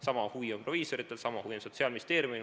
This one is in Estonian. Sama huvi on proviisoritel, sama huvi on Sotsiaalministeeriumil.